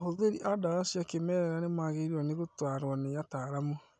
Ahũthĩri a ndawa cia kĩmerera nĩmagĩrĩirwo nĩ gũtarwo nĩ ataramu